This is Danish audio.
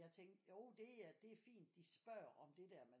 Jeg tænkte jo det er det er fint at de spørger om det der men